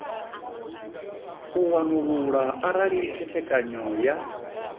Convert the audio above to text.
u wanulula arali khethekanyo ya